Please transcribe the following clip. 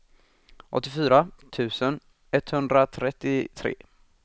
åttiofyra tusen etthundratrettiotre